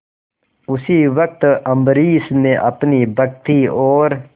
उसी वक्त अम्बरीश ने अपनी भक्ति और